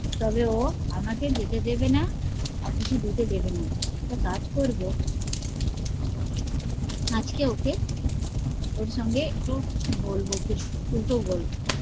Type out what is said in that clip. তবে ও আমাকে যেতে দেবে না কিছু দিতে দেবে না একটা কাজ করব আজকে ওকে ওর সঙ্গে একটু বলবো কিছু উল্টো বলব